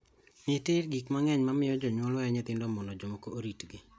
Nitie gik mang'eny ma miyo jonyuol weyo nyithindgi mondo jomoko oritgi.